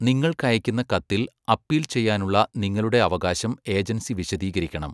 നിങ്ങൾക്കയക്കുന്ന കത്തിൽ അപ്പീൽ ചെയ്യാനുള്ള നിങ്ങളുടെ അവകാശം ഏജൻസി വിശദീകരിക്കണം.